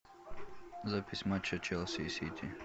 запись матча челси и сити